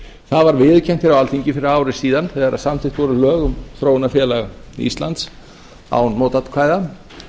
það var viðurkennt hér á alþingi fyrir ári síðan þegar samþykkt voru lög um þróunarfélag íslands án mótatkvæða